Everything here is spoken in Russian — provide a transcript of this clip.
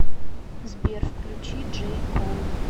сбер включи джей кол